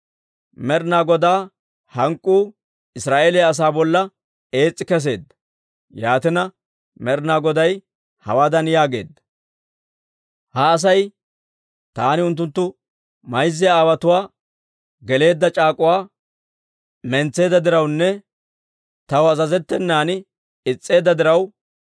Med'inaa Godaa hank'k'uu Israa'eeliyaa asaa bolla ees's'i kesseedda; yaatina, Med'inaa Goday hawaadan yaageedda; «Ha Asay taani unttunttu mayza aawaatoo geleedda c'aak'uwa mentseedda dirawunne taw azazettenan is's'eedda diraw,